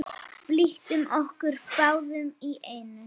Byltum okkur báðar í einu.